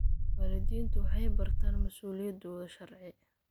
Waalidiintu waxay bartaan mas'uuliyadahooda sharci.